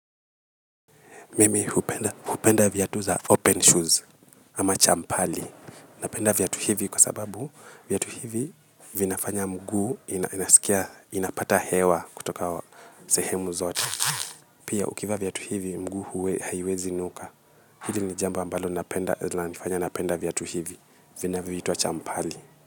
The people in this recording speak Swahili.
Mimi hupenda vyatu za open shoes ama champali. Napenda vyatu hivi kwa sababu vyatu hivi vinafanya mguu inasikia inapata hewa kutoka sehemu zote. Pia ukivaa vyatu hivi mguu huwa haiwezi nuka. Hili ni jambo ambalo linanifanya napenda vyatu hivi vinavyoitwa champali.